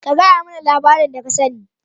ka gayamana labarin da ka sane.